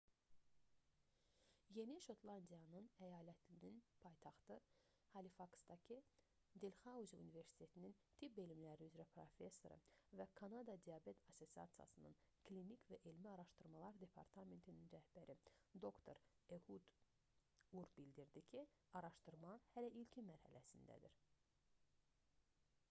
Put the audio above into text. yeni şotlandiya əyalətinin paytaxtı halifaksdaki delxauzi universitetinin tibb elmləri üzrə professoru və kanada diabet assosiasiyasının klinik və elmi araşdırmalar departamentinin rəhbəri dr ehud ur bildirdi ki araşdırma hələ ilkin mərhələdədir